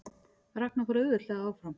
Ragna fór auðveldlega áfram